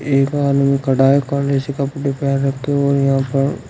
एक आदमी खड़ा है काले से कपड़े पेहन रखे हैं और यहां पर--